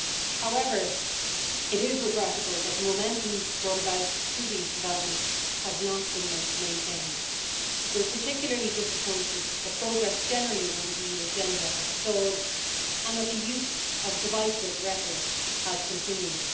However, it is regrettable that the momentum brought about through these developments has not been maintained. We are particularly disappointed that progress generally on the EU agenda has stalled and that the use of divisive rhetoric has continued.